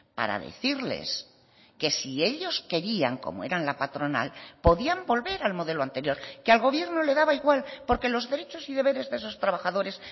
para decirles que si ellos querían como eran la patronal podían volver al modelo anterior que al gobierno le daba igual porque los derechos y deberes de esos trabajadores